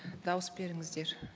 дауыс беріңіздер